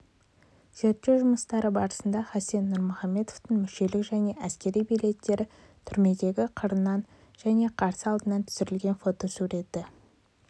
зерттеу жұмыстары барысында хасен нұрмұхамедовтың мүшелік және әскери билеттері түрмедегі қырынан және қарсы алдынан түсірілген фотосуреті